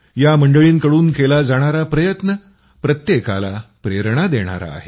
या मंडळींकडून केला जाणारा प्रयत्न प्रत्येकाला प्रेरणा देणारा आहे